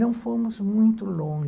Não fomos muito lon